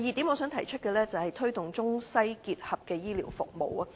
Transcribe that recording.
我想提出的第二點是，推動中西結合的醫療服務。